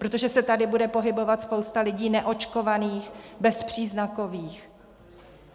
Protože se tady bude pohybovat spousta lidí neočkovaných, bezpříznakových?